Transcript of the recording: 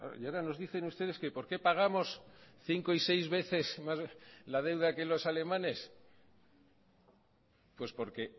y ahora nos dicen ustedes que por qué pagamos cinco y seis veces más la deuda que los alemanes pues porque